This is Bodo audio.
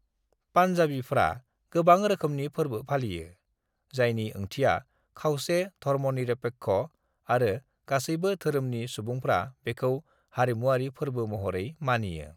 "पन्जाबीफ्रा गोबां रोखोमनि फोरबो फालियो, जायनि ओंथिया खावसे-धर्मनिरपेक्ष आरो गासैबो धोरोमनि सुबुंफ्रा बेखौ हारिमुआरि फोरबो महरै मानियो।"